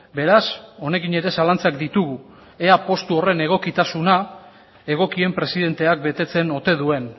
beraz honekin ere zalantzak ditugu ea postu horren egokitasuna egokien presidenteak betetzen ote duen